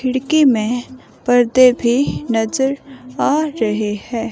खिड़की में पर्दे भी नजर आ रहे हैं।